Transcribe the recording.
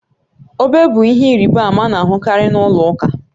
Obe bụ ihe ịrịba ama a na-ahụkarị na ụlọ ụka